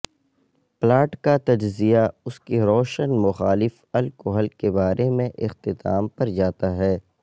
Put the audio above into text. plot کا تجزیہ اس کے روشن مخالف الکحل کے بارے میں اختتام پر جاتا ہے